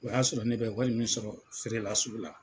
O y'a sɔrɔ ne bɛ wari min sɔrɔ feerela sugu la.